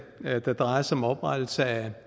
der drejer sig om oprettelse af